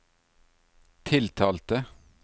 tiltalte